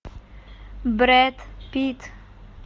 брэд питт